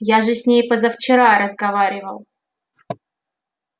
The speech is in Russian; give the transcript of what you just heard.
я же с ней позавчера разговаривал